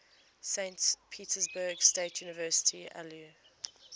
saint petersburg state university alumni